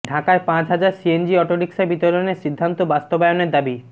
ঢাকায় পাঁচ হাজার সিএনজি অটোরিকশা বিতরণের সিদ্ধান্ত বাস্তবায়নের দাবি